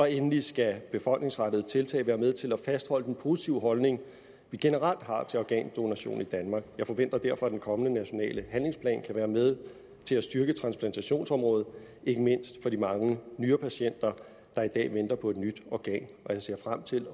endelig skal befolkningsrettede tiltag være med til at fastholde den positive holdning vi generelt har til organdonation i danmark jeg forventer derfor at den kommende nationale handlingsplan kan være med til at styrke transplantationsområdet ikke mindst for de mange nyrepatienter der i dag venter på et nyt organ og jeg ser frem til